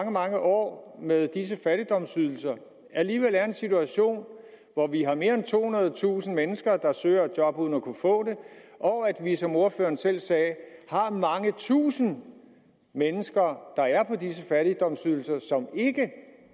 mange år med disse fattigdomsydelser alligevel er i en situation hvor vi har mere end tohundredetusind mennesker der søger et job uden at kunne få det og at vi som ordføreren selv sagde har mange tusinde mennesker der er på disse fattigdomsydelser og som ikke